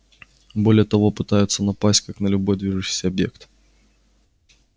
более того пытаются напасть как на любой движущийся объект